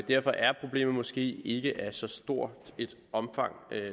derfor er problemet måske ikke af så stort et omfang